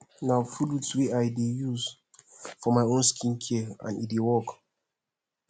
na fruits wey i dey use do my own skincare and ecdey work